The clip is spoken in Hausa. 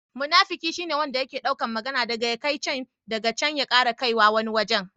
Munafiki shi ne yanda yake dauka magana dagan ya kai can, daga can ya ƙara kaiwa wani wajen.